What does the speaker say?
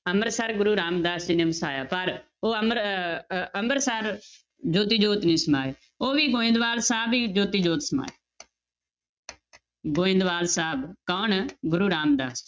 ਅੰਮ੍ਰਿਤਸਰ ਗੁਰੂ ਰਾਮਦਾਸ ਜੀ ਨੇ ਵਸਾਇਆ ਪਰ ਉਹ ਅਮਰ ਅਹ ਅਹ ਅੰਬਰਸਰ ਜੋਤੀ ਜੋਤ ਨੀ ਸਮਾਏ, ਉਹ ਵੀ ਗੋਬਿੰਦਵਾਲ ਸਾਹਿਬ ਹੀ ਜੋਤੀ ਜੋਤ ਸਮਾਏ ਗੋਬਿੰਦਵਾਲ ਸਾਹਿਬ ਕੌਣ? ਗੁਰੂ ਰਾਮਦਾਸ